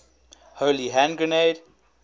holy hand grenade